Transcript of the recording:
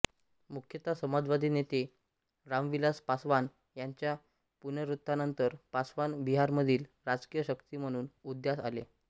मुख्यत समाजवादी नेते रामविलास पासवान यांच्या पुनरुत्थानानंतर पासवान बिहारमधील राजकीय शक्ती म्हणून उदयास आले